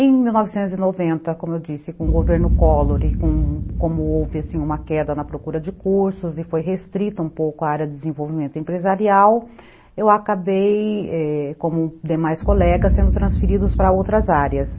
Em mil novecentos e noventa, como eu disse, com o governo Collor e como houve uma queda na procura de cursos e foi restrita um pouco a área de desenvolvimento empresarial, eu acabei, como demais colegas, sendo transferidos para outras áreas.